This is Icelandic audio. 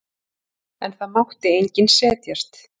En það mátti enginn setjast.